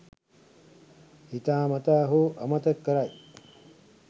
හිතා මතා හෝ අමතක කරයි.